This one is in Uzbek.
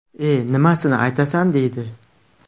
E nimasini aytasan deydi.